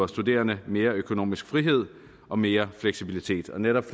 studerende mere økonomisk frihed og mere fleksibilitet og netop